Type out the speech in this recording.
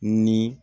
Ni